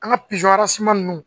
An ka pizɔn ninnu